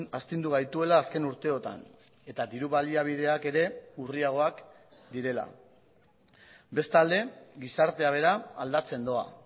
astindu gaituela azken urteotan eta diru baliabideak ere urriagoak direla bestalde gizartea bera aldatzen doa